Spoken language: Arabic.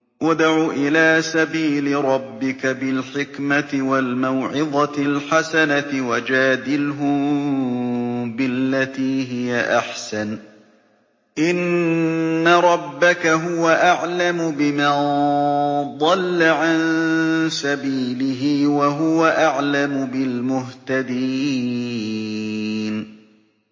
ادْعُ إِلَىٰ سَبِيلِ رَبِّكَ بِالْحِكْمَةِ وَالْمَوْعِظَةِ الْحَسَنَةِ ۖ وَجَادِلْهُم بِالَّتِي هِيَ أَحْسَنُ ۚ إِنَّ رَبَّكَ هُوَ أَعْلَمُ بِمَن ضَلَّ عَن سَبِيلِهِ ۖ وَهُوَ أَعْلَمُ بِالْمُهْتَدِينَ